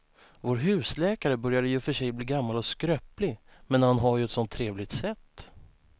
Vår husläkare börjar i och för sig bli gammal och skröplig, men han har ju ett sådant trevligt sätt!